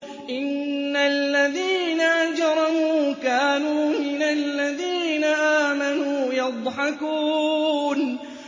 إِنَّ الَّذِينَ أَجْرَمُوا كَانُوا مِنَ الَّذِينَ آمَنُوا يَضْحَكُونَ